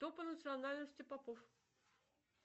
кто по национальности попов